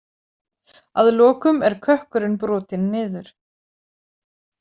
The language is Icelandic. Að lokum er kökkurinn brotinn niður.